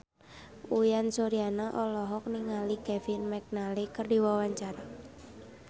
Uyan Suryana olohok ningali Kevin McNally keur diwawancara